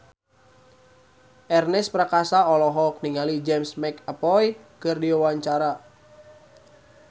Ernest Prakasa olohok ningali James McAvoy keur diwawancara